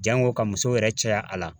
Jango ka muso yɛrɛ caya a la